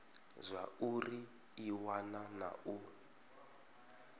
zwauri i wana na u